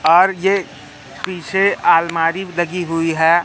और ये पीछे अलमारी लगी हुई है।